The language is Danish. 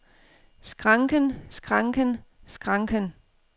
skranken skranken skranken